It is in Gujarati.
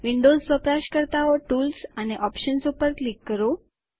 વિન્ડોઝ વપરાશકર્તાઓ ટૂલ્સ અને ઓપ્શન્સ ઉપર ક્લિક કરો